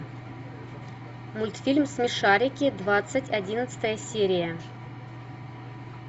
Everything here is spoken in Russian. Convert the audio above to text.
мультфильм смешарики двадцать одиннадцатая серия